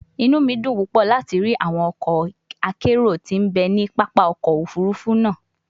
Inu mi dun pupọ lati ri awọn ọkọ akero ti n be ni papa ọkọ ofurufu naa